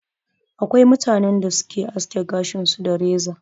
Akwai mutanen da su Ke aske gashin su da reza.